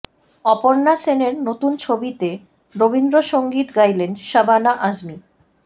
অপর্ণা সেনের নতুন ছবিতে রবীন্দ্র সঙ্গীত গাইলেন শাবানা আজমি